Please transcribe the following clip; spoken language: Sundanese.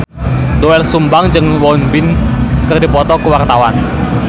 Doel Sumbang jeung Won Bin keur dipoto ku wartawan